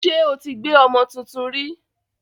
Ṣé o ti gbé ọmọ tuntun rí?